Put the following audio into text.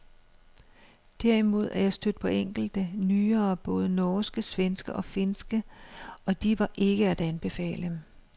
Derimod er jeg stødt på enkelte, nyere både norske, svenske og finske, og de var ikke at anbefale.